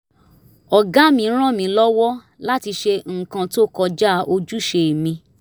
ọ̀gá mi rán mi lọ́wọ́ láti ṣe nǹkan tó kọjá ojúṣe mi